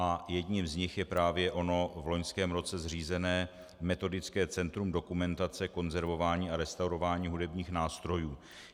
A jedním z nich je právě ono v loňském roce zřízené Metodické centrum dokumentace, konzervování a restaurování hudebních nástrojů.